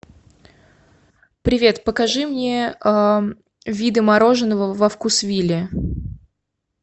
привет покажи мне виды мороженого во вкусвилле